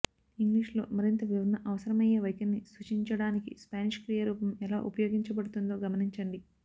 ఇంగ్లీష్లో మరింత వివరణ అవసరమయ్యే వైఖరిని సూచించడానికి స్పానిష్ క్రియా రూపం ఎలా ఉపయోగించబడుతుందో గమనించండి